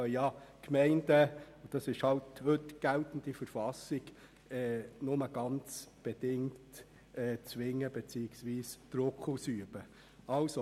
Es entspricht der geltenden Verfassung, dass wir die Gemeinden nur sehr bedingt zwingen und Druck ausüben können.